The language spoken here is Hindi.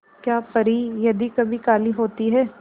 क्या परी यदि कभी काली होती है